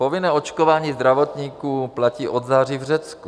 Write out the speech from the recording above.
Povinné očkování zdravotníků platí od září v Řecku.